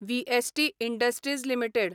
VST industries limited